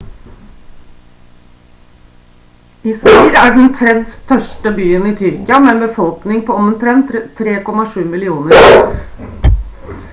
izmir er den 3. største byen i tyrkia med en befolkning på omtrent 3,7 millioner izmir er nest største havnen etter istanbul og er et svært godt sentrum for transport